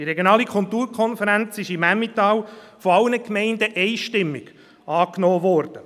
Die regionale Kulturkonferenz ist im Emmental von allen Gemeinden einstimmig angenommen worden.